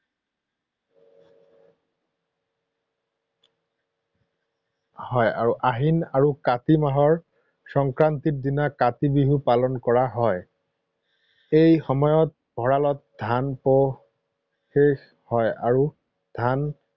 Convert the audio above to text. হয় আৰু আহিন আৰু কাতি মাহৰ সংক্ৰান্তিৰ দিনা কাতি বিহু পালন কৰা হয়। এই সময়ত ভঁৰালত ধান, শেষ হয় আৰু ধান